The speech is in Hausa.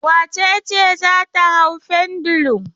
Wace ce za ta hau pendulum?